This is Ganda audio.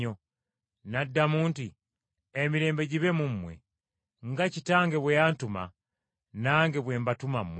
N’addamu nti, “Emirembe gibe mu mmwe. Nga Kitange bwe yantuma, nange bwe mbatuma mmwe.”